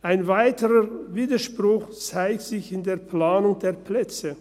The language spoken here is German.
Ein weiterer Widerspruch zeigt sich in der Planung der Plätze.